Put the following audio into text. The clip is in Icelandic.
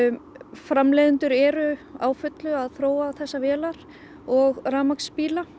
framleiðendur eru á fullu að þróa þessar vélar og rafmagnsbíla